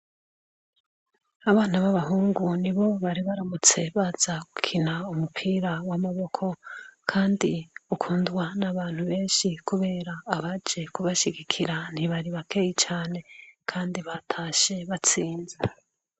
Abana babahungu nibo baribaramutse baza gukina umupira wamaboko kandi ukundwa nabantu benshi kubera abari baje kubashigikira ntibari bakeyi cane kandi batashe batsinze